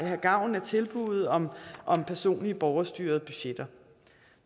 have gavn af tilbuddet om om personlige borgerstyrede budgetter